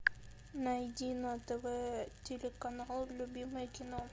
найди на тв телеканал любимое кино